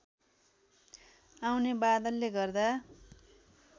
आउने बादलले गर्दा